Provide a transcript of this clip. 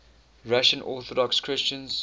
russian orthodox christians